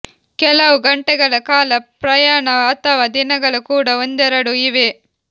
ಕೆಲವು ಗಂಟೆಗಳ ಕಾಲ ಪ್ರಯಾಣ ಅಥವಾ ದಿನಗಳ ಕೂಡ ಒಂದೆರಡು ಇವೆ